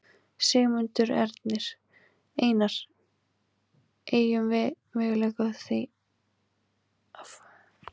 Sigmundur Ernir: Einar, eygjum við möguleika á því að fá hér tveggja flokka vinstristjórn?